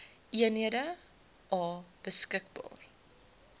eenhede a beskikbaar